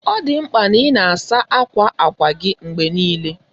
Ọ dị mkpa na ị na-asa ákwà ákwá gị mgbe niile.